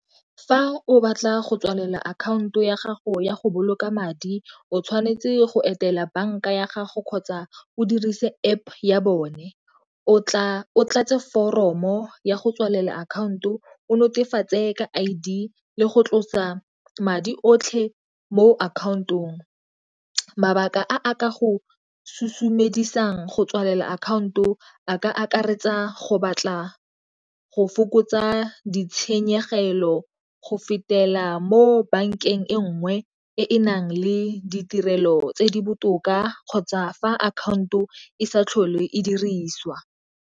Fa o batla go tswalela akhaonto ya gago ya go boloka madi, o tshwanetse go etela banka ya gago kgotsa o dirise App ya bone. o tlatse foromo ya go tswalelwa account o netefatse ka I_D e go tlosa madi otlhe mo account-ong. Mabaka a a ka go susumedisang go tswalela account-o a ka akaretsa go batla go fokotsa ditshenyegelo go fetela mo bankeng e nngwe e e nang le ditirelo tse di botoka kgotsa fa akhaonto e sa tlhole e diriswa.